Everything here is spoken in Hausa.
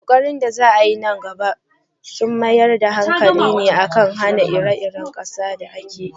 Ƙoƙarin da za a yi nan gaba za su mayar da hankali ne kan hana rikicin ƙasa da kan iyaka.